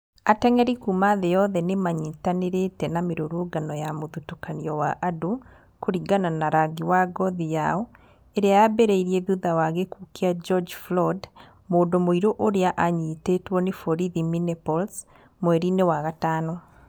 Ateng'eri kuuma thĩ yothe nĩ manyitanĩrĩte na mĩrũrũngano ya mũthutũkanio wa andũ kũringana na rangi wa ngothi yao ĩrĩa yambĩrĩrie thutha wa gĩkuũ kĩa George Floyd, mũndũ mũirũ ũrĩa anyitĩtwo ni borithi Minneapolis mweri-inĩ wa gatano.